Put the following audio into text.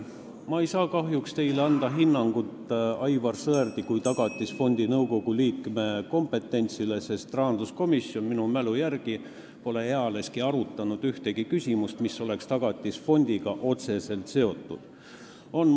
Ma ei saa kahjuks anda teile hinnangut Aivar Sõerdi kui Tagatisfondi nõukogu liikme kompetentsile, sest rahanduskomisjon pole minu mälu järgi ealeski arutanud ühtegi küsimust, mis oleks Tagatisfondiga otseselt seotud olnud.